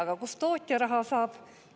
Aga kust tootja raha saab?